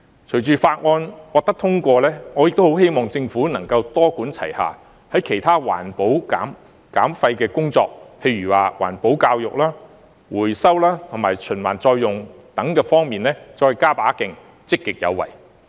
隨着《條例草案》獲得通過，我亦很希望政府能夠多管齊下，在其他環保減廢的工作上，例如環保教育、回收及循環再用等方面，再加把勁、積極有為。